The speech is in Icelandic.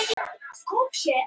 Taugar Lóu urðu rauðglóandi.